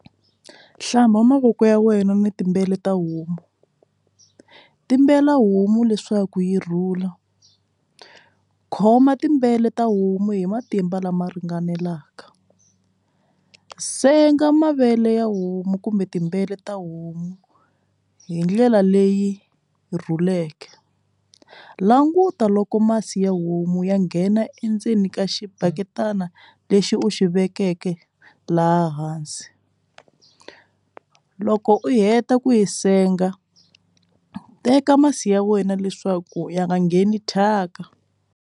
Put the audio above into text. Hlamba mavoko ya wena ni tibele ta homu timbela homu leswaku yi rhula khoma tibele ta homu hi matimba lama ringanelaka senga mavele ya homu kumbe timbewu ta homu hi ndlela leyi rhuleke languta loko masi ya homu ya nghena endzeni ka xibaya yitana lexi u xi vekeke laha hansi loko u heta ku yi senga u teka masi ya wena leswaku ya nga ngheni thyaka.